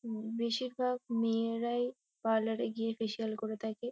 উম বেশিরভাগ মেয়েরাই পার্লার -এ গিয়ে ফেসিয়াল করে থাকে।